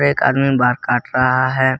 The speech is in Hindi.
एक आदमी बाल काट रहा है।